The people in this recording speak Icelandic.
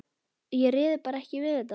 Ég réði bara ekki við þetta.